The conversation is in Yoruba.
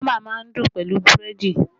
Bama má ń dùn pẹ̀lú búrẹ́dì